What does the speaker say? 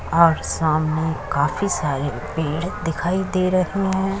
और सामने काफी सारे पेड़ दिखाई दे रहे हैं।